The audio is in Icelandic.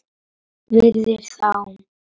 Virðir þá.